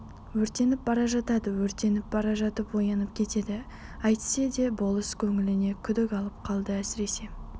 өртеніп бара жатады өртеніп бара жатып оянып кетеді әйтсе де болыс көңіліне күдік алып қалды әсіресе